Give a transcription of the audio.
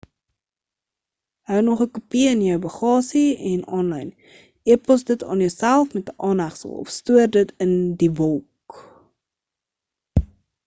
hou nog 'n kopie in jou baggasie en aanlyn e-pos dit aan jouself met 'n aanhegsel of stoor dit in die wolk"